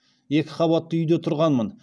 екі қабатты үйде тұрғанмын